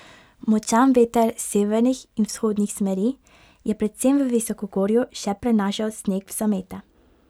Močan veter severnih in vzhodnih smeri je predvsem v visokogorju še prenašal sneg v zamete.